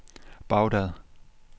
Baghdad